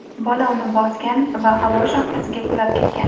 Bola uni bosgan va havo shaxtasiga qulab ketgan.